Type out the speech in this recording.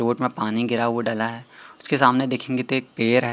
Boat में पानी गिरा हुआ डला है उसके सामने त देखेंगे एक पेड़ है।